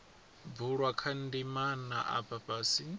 bulwa kha ndimana afha fhasi